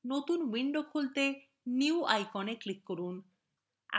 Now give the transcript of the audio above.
নতুন window খুলতে new icon click করুন